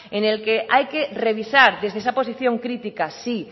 en el que hay que revisar desde esa posición crítica sí